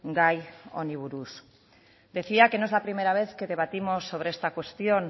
gai honi buruz decía que no es la primera vez que debatimos sobre esta cuestión